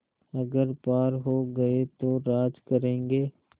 अगर पार हो गये तो राज करेंगे